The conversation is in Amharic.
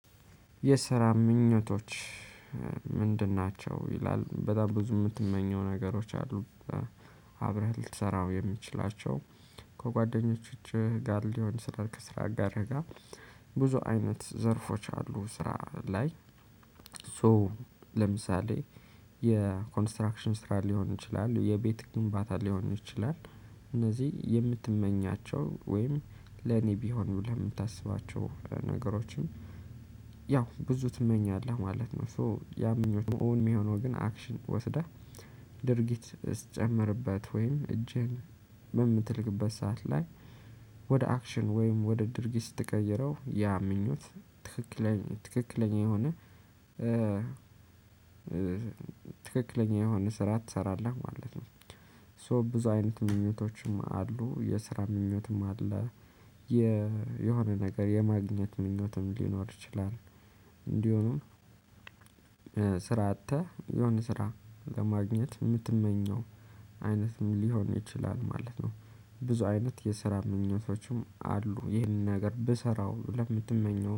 የስራ ምኞቶች ምንድን ናቸው? ይላል በጣም ብዙ የምትመኘው ነገሮች አሉ። አብረህ ልትሰራው የምትችላቸው። ከጓደኞችህ ጋር ሊሆን ስራ ከስራ አጋርጋ። ብዙ አይነት ዘርፎች አሉ ስራ ላይ። ሶ ለምሳሌ የኮንስትራክሽን ስራ ሊሆን ይችላል የቤት ግንባታ ሊሆን ይችላል። እነዚህ የምትመኛቸው ወይም ለኔ ቢሆን ለምታስባቸው ነገሮችም። ያው ብዙ ትመኛለህ ማለት ነው። ሶ ያምኞት እውን የሚሆነው ግን አክሽን ወስዳህ። ድርጊት ስትጨምርበት ወይም እጅህን በምትልክበት ሰዓት ላይ ያው ብዙ ትመኛለህ ማለት ነው። ሶ ያምኞት እውን የሚሆነው ግን አክሽን ወስዳህ ድርጊት ስትጨምርበት ወይም እጅህን በምትልክበት ሰዓት ላይ ያው ብዙ ትመኛለህ ማለት ነው። ሶ ያምኞት ኦን የሚሆነው ግን አክሽን ወስዳ ድርጊት ስትጨምርበት ወይም እጄን በምትልክበት ሰዓት ላይ ወደ አክሽን ወይም ወደ ድርጊት ስትቀይረው ያ ምኞት ትክክለኛ ትክክለኛ የሆነ። ስራ አጥተህ የሆነ ስራ ለማግኘት የምትመኘው አይነት ምን ሊሆን ይችላል ማለት ነው። ብዙ አይነት የሰራ ምኞቶችም አሉ ይህን ነገር ብሰራው ለምትመኘው